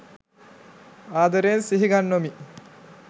ආදරයෙන් සිහිගන්වමි